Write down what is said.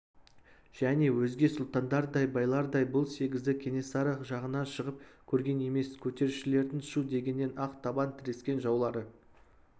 және өзге сұлтандардай байлардай бұл сегізі кенесары жағына шығып көрген емес көтерілісшілердің шу дегеннен-ақ табан тірескен жаулары